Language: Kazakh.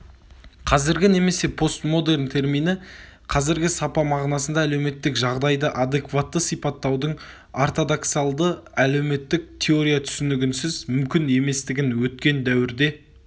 қазіргі немесе постмодерн термині қазіргі сапа мағынасында әлеуметтік жағдайды адекватты сипаттаудың ортодоксалды әлеуметтік теория түсінігінсіз мүмкін еместігін өткен дәуірде